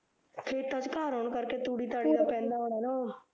ਖੇਤਾਂ ਚ ਘਰ ਹੋਣ ਕਰ ਕੇ ਤੂੜੀ ਤਾੜੀ ਦਾ ਪੈਂਦਾ ਹੁਣਾ ਨਾ ਓਹ